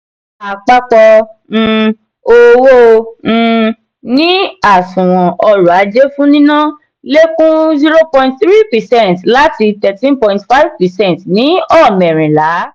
àpapọ um owó um ní àsùnwòn orò-ajé fún nínà lẹkun zero point three percent láti thirteen point five percent ní ọmẹrinla.